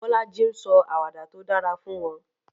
Bolaji ń sọ àwàdà tó dára fún wọn.